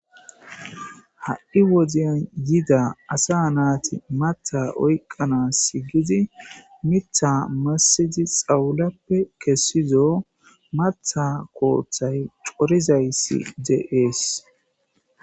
ha'i wodeyan yida asa naati matha oyqana sigidi mitha massidi xawulappe kessizo matha kooththay corizayssi de'ees.